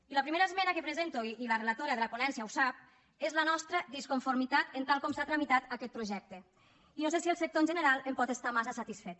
i la primera esmena que presento i la relatora de la ponència ho sap és la nostra disconformitat amb tal com s’ha tramitat aquest projecte i no sé si el sector en general en pot estar massa satisfet